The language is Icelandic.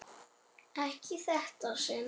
Ekki í þetta sinn.